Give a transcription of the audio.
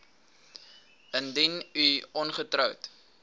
indien u ongetroud